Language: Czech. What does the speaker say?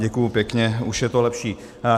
Děkuji pěkně, už je to lepší.